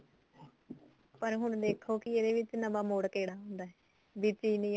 ਪਰ ਹੁਣ ਦੇਖੋ ਕੀ ਹੁਣ ਇਹਦੇ ਵਿਚ ਨਵਾ ਮੋੜ ਕਿਹੜਾ ਆਉਂਦਾ ਵੀ ਚੀਲੀ